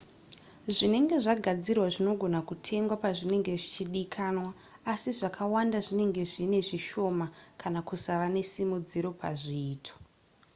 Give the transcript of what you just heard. zvinenge zvagadzirwa zvinogona kutengwa pazvinenge zvichidikanwa asi zvakawanda zvinenge zvinezvishoma kana kusava nesimudziro pazviito